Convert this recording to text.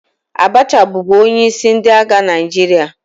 Abacha bụbu onyeisi ndị agha Naijiria